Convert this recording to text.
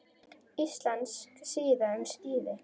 Íslensk síða um skíði